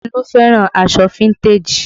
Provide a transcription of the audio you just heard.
Olu fẹ́ràn aṣọ fíntèjì